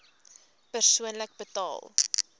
persoonlik betaal